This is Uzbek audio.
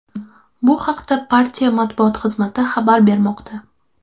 Bu haqda partiya matbuot xizmati xabar bermoqda.